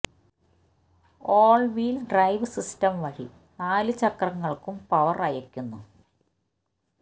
ഓള് wheel drive system വഴി നാല് ചക്രങ്ങള്ക്കും പവര് അയയ്ക്കുന്നു